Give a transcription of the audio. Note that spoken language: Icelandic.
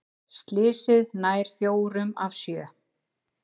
Slysið nær fjórum af sjö